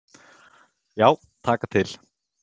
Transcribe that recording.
Já, taka til.